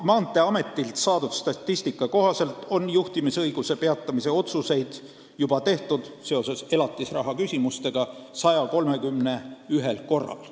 Maanteeametilt saadud statistika kohaselt on juhtimisõiguse peatamise otsuseid seoses elatisraha küsimustega tehtud 131 korral.